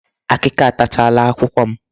Akịka atachaala akwụkwọ m.